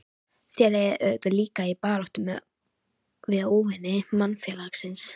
Þér eigið auðvitað líka í baráttu við óvini mannfélagsins?